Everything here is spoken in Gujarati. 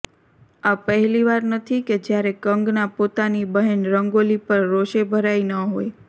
આ પહેલીવાર નથી કે જયારે કંગના પોતાની બહેન રંગોલી પર રોષે ભરાઇ ન હોય